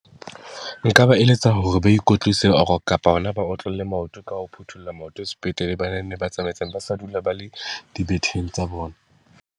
Nka ba eletsa hore ba ikwetlise or kapa hona ba otlolle maoto ka ho phuthulla maoto sepetlele, ba nne ba ba sa dula ba le dibetheng tsa bona.